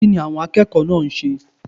Kínni àwon akékòó náà nse?